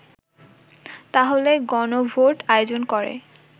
তাহলে গণভোট আয়োজন করে